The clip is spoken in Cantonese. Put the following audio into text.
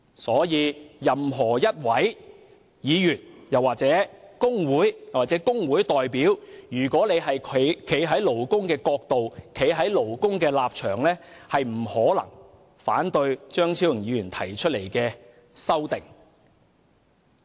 故此，任何議員、工會或工會代表，如果站在勞工的角度和立場，不可能會反對張議員提出的修正案。